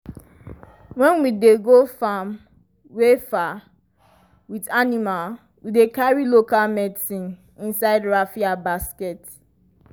when we dey go farm wey far with animal we dey carry local medicine inside raffia basket.